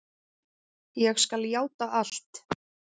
Ég skal játa allt.